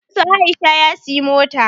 Baban su Aisha ya siyi mota